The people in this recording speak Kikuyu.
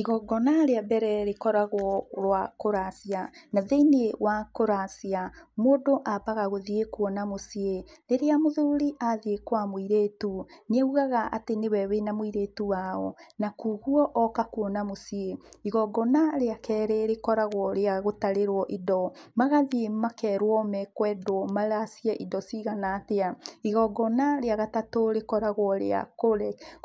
Igongona rĩa mbere rĩkoragwo rwa kũracia, na thĩinĩ wa kĩracia, mũndũ ambaga gũthiĩ kũona mũciĩ. Rĩrĩa mũthuri athiĩ kwa mũirĩtu, nĩaugaga atĩ nĩwe wĩna mũirĩtu wao, na koguo oka kuona mũciĩ. Igongona rĩa kerĩ rĩkoragwo rĩa gũtarĩrwo indo, magathiĩ makerwo mekwendwo maracie indo cigana atĩa. Igongona rĩa gatatũ rĩkoragwo rĩa